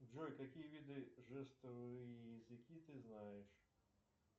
джой какие виды жестовые языки ты знаешь